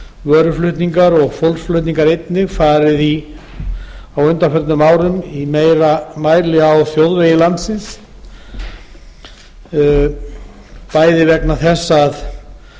vöruflutningar og fólksflutningar einnig farið á undanförnum árum í meira mæli á þjóðvegi landsins bæði vegna þess að